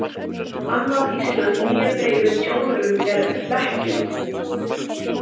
Annað íslenskt nýyrði yfir tjóðrun er „Hlekkjun“.